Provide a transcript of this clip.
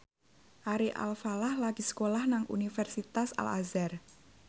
Ari Alfalah lagi sekolah nang Universitas Al Azhar